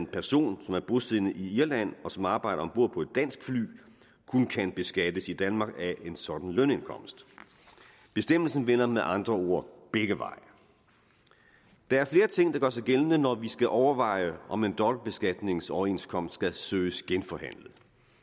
person som er bosiddende i irland og som arbejder om bord på et dansk fly kun kan beskattes i danmark af en sådan lønindkomst bestemmelsen vender med andre ord begge veje der er flere ting der gør sig gældende når vi skal overveje om en dobbeltbeskatningsoverenskomst skal søges genforhandlet